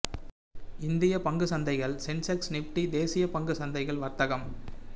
இந்திய பங்கு சந்தைகள் சென்செக்ஸ் நிஃப்டி தேசிய பங்கு சந்தைகள் வர்த்தகம்